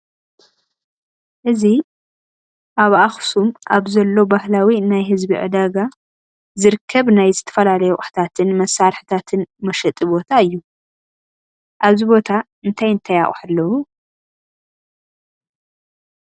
እዚ ኣብ ኣኽሱም ኣብ ዘሎ ባህላዊ ናይ ህዝቢ ዕዳጋ ዝርከብ ናይ ዝተፈላለዩ ኣቑሑታትን መሳርሕታትን መሸጢ ቦታ እዩ፡፡ ኣብዚ ቦታ እንታይ እንታይ ኣቑሑ ኣለዉ፡፡